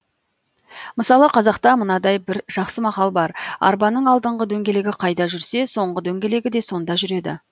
мысалы қазақта мынадай бір жақсы мақал бар арбаның алдыңғы дөңгелегі қайда жүрсе соңғы дөңгелегі де сонда жүреді